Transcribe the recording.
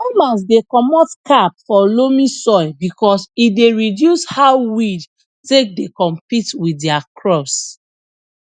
farmers dey comot cap for loamy soil because e dey reduce how weed take dey compete with dia crops